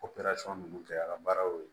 minnu kɛra baara y'o ye